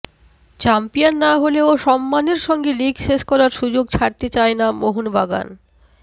champion না হলেও সম্মানের সঙ্গে লিগ শেষ করার সুযোগ ছাড়তে চায় না মোহনবাগান